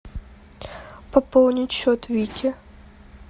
пополнить счет вики